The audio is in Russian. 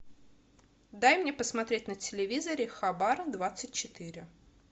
дай мне посмотреть на телевизоре хабар двадцать четыре